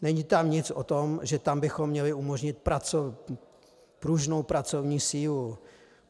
Není tam nic o tom, že tam bychom měli umožnit pružnou pracovní sílu.